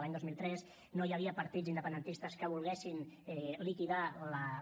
l’any dos mil tres no hi havia partits independentistes que volguessin liquidar